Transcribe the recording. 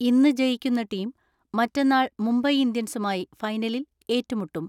ഇന്ന് ജയിക്കുന്ന ടീം മറ്റന്നാൾ മുംബൈ ഇന്ത്യൻസുമായി ഫൈനലിൽ ഏറ്റുമുട്ടും.